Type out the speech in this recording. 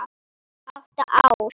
Átta ár.